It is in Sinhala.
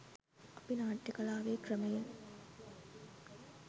අපි නාට්‍ය කලාවේ ක්‍රමයෙන්